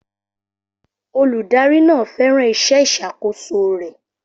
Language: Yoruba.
Olùdarí náà fẹ́ràn iṣẹ́ ìṣàkóso rẹ̀.